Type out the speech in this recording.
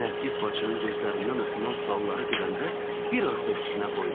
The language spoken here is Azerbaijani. Nərgiz bacının gözlərindən oxunan sualları görəndə bir az da üstünə qoydu.